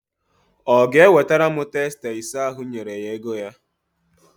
Ọ ga-ewetara m testa ise ahụ m nyere ya ego ha?